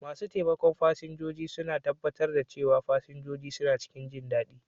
Masu taimakon fasinjoji suna tabbatar da cewa fasinjoji suna cikin jindadi.